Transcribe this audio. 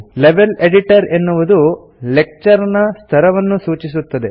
level editor ಎನ್ನುವುದು lecture ನ ಸ್ತರವನ್ನು ಸೂಚಿಸುತ್ತದೆ